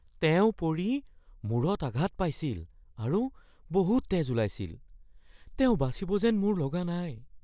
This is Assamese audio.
তেওঁ পৰি মূৰত আঘাত পাইছিল আৰু বহুত তেজ ওলাইছিল। তেওঁ বাচিব যেন মোৰ লগা নাই।